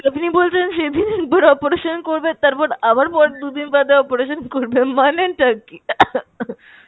আপনি বলছেন সেদিনই একবার operation করবেন তারপর আবার দুদিন বাদে operation করবেন মানে টা কী?